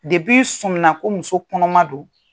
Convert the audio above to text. i sɔminna ko muso kɔnɔma don